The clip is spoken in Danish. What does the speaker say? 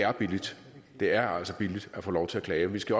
er billigt det er altså billigt at få lov til at klage og vi skal